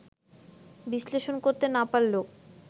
বিশ্লেষণ করতে না পারলেও